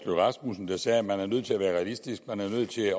rasmussen der sagde at man er nødt til at være realistisk at man er nødt til